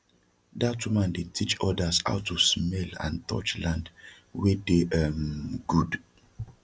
dat woman dey teach odas how to smell and touch land wey dey um gud